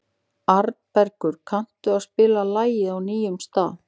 Arnbergur, kanntu að spila lagið „Á nýjum stað“?